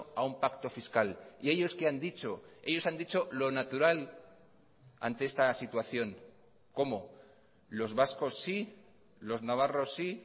a un pacto fiscal y ellos qué han dicho ellos han dicho lo natural ante esta situación cómo los vascos sí los navarros sí